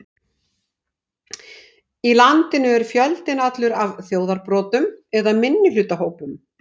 Í landinu er fjöldinn allur af þjóðarbrotum eða minnihlutahópum.